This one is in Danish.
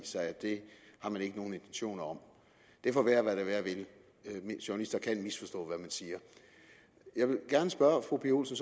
sig at det har man ikke nogen intentioner om det får være hvad det være vil journalister kan misforstå hvad man siger jeg vil gerne spørge fru pia olsen